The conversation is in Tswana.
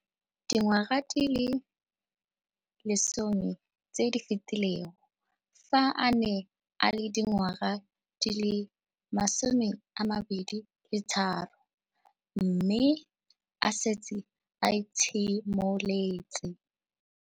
Dingwaga di le 10 tse di fetileng, fa a ne a le dingwaga di le 23 mme a setse a itshimoletse